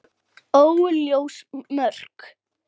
Óljós mörk.